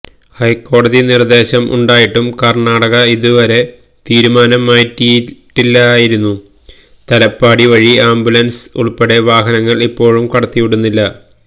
ഹൈക്കോടതി നിർദേശം ഉണ്ടായിട്ടും കർണാടക ഇതുവരെ തീരുമാനം മാറ്റിയിട്ടില്ലായിരുന്നു തലപ്പാടി വഴി ആംബുലൻസ് ഉൾപ്പെടെ വാഹനങ്ങൾ ഇപ്പോഴും കടത്തിവിടുന്നില്ല